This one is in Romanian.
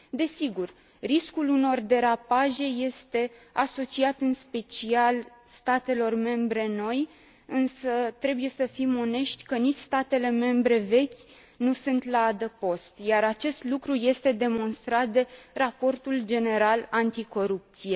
Desigur, riscul unor derapaje este asociat în special statelor membre noi, însă trebuie să fim onești că nici statele membre vechi nu sunt la adăpost, iar acest lucru este demonstrat de raportul general anticorupție.